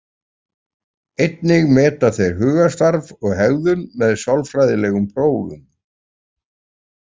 Einnig meta þeir hugarstarf og hegðun með sálfræðilegum prófum.